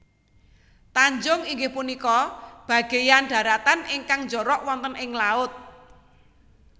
Tanjung inggih punika bagéyan dharatan ingkang njorok wonten ing laut